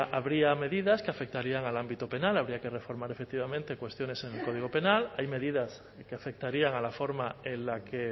habría medidas que afectarían al ámbito penal habría que reformar efectivamente cuestiones en el código penal hay medidas que afectarían a la forma en la que